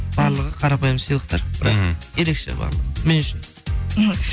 барлығы қарапайым сыйлықтар бірақ ерекше барлығы мен үшін мхм